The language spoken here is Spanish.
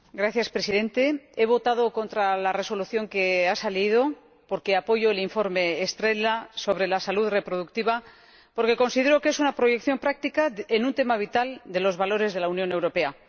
Señor Presidente, he votado en contra de la Resolución que se ha aprobado porque apoyo el informe Estrela sobre la salud reproductiva, ya que considero que es una proyección práctica en un tema vital de los valores de la Unión Europea.